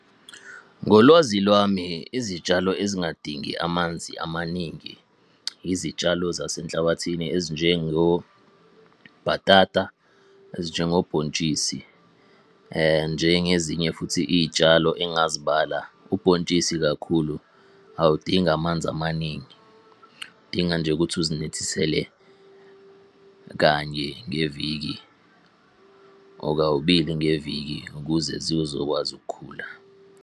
Ngolwazi lwami, izitshalo ezingadingi amanzi amaningi, izitshalo zase nhlabathini ezinjengo, bhatata, ezinjengo bhontshisi. Njengezinye futhi iy'tshalo engazibala, ubhontshisi kakhulu awudingi amanzi amaningi, udinga nje ukuthi uzinethisele kanye ngeviki or kabili ngeviki ukuze zizokwazi ukukhula.